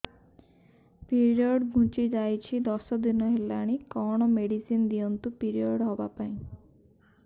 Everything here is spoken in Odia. ପିରିଅଡ଼ ଘୁଞ୍ଚି ଯାଇଛି ଦଶ ଦିନ ହେଲାଣି କଅଣ ମେଡିସିନ ଦିଅନ୍ତୁ ପିରିଅଡ଼ ହଵା ପାଈଁ